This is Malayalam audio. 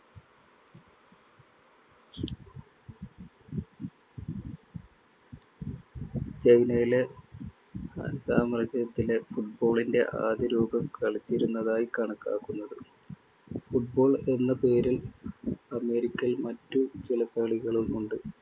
ചൈനയിലെ han സാമ്രാജ്യത്തില് football ന്‍റെ ആദ്യരൂപം കളിച്ചിരുന്നതായി കണക്കാക്കുന്നത്. football എന്ന പേരില്‍ അമേരിക്കയിൽ മറ്റു ചില കളികളുമുണ്ട്‌.